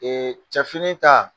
Ee cɛ fini ta